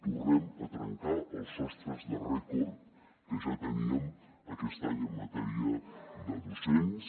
tornem a trencar els sostres de rècord que ja teníem aquest any en matèria de docents